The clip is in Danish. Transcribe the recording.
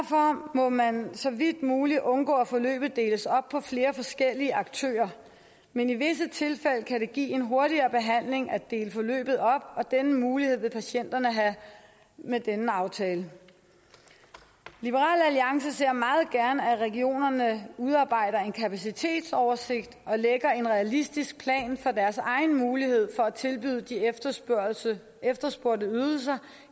må man så vidt muligt undgå at forløbet deles op på flere forskellige aktører men i visse tilfælde kan det give en hurtigere behandling at dele forløbet op og den mulighed vil patienterne have med denne aftale liberal alliance ser meget gerne at regionerne udarbejder en kapacitetsoversigt og lægger en realistisk plan for deres egen mulighed for at tilbyde de efterspurgte efterspurgte ydelser